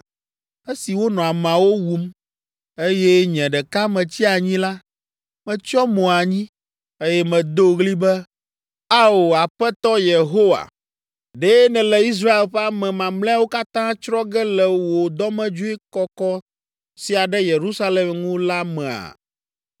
Esi wonɔ ameawo wum, eye nye ɖeka metsi anyi la, metsyɔ mo anyi, eye medo ɣli be, “Ao! Aƒetɔ Yehowa! Ɖe nèle Israel ƒe ame mamlɛawo katã tsrɔ̃ ge le wò dɔmedzoe kɔkɔ sia ɖe Yerusalem ŋu la mea?”